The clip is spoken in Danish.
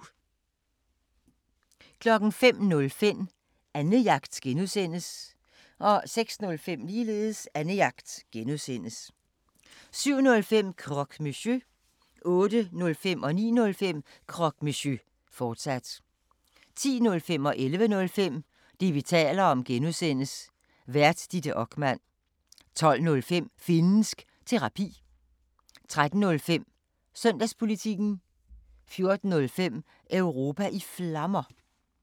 05:05: Annejagt (G) 06:05: Annejagt (G) 07:05: Croque Monsieur 08:05: Croque Monsieur, fortsat 09:05: Croque Monsieur, fortsat 10:05: Det, vi taler om (G) Vært: Ditte Okman 11:05: Det, vi taler om (G) Vært: Ditte Okman 12:05: Finnsk Terapi 13:05: Søndagspolitikken 14:05: Europa i Flammer